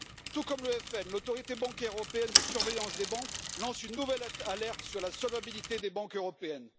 Tout comme le Front national, l'Autorité bancaire européenne de surveillance des banques lance une nouvelle alerte sur la solvabilité des banques européennes.